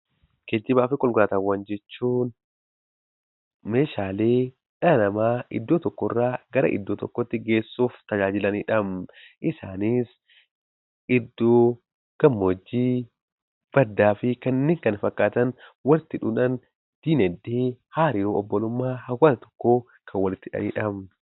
Geejjibaa fi konkolaataawwan jechuun meeshaalee dhala namaa iddoo tokkorraa gara iddoo tokkootti geessuuf tajaajilanidha. Isaanis iddoo gammoojjii, baddaa fi kanneen kana fakkaatan walitti hidhuudhaan dinagdee, hariiroo obbolummaa hawaasa tokkoo kan walitti hidhanidha.